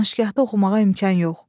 Danışqahda oxumağa imkan yox.